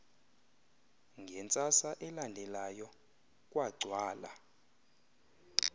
ngentsasa elandelayo kwagcwala